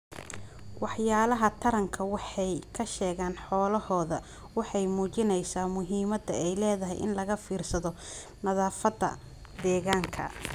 Waxyaalaha taranka waxay ka sheegaan xoolahooda waxay muujinaysaa muhiimadda ay leedahay in laga fiirsado nadaafadda deegaanka.